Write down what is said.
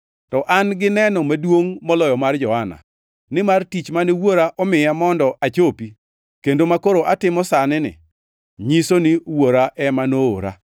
“To an gi neno maduongʼ moloyo mar Johana, nimar tich mane Wuora omiya mondo achopi, kendo makoro atimo sani-ni, nyiso ni Wuora ema noora.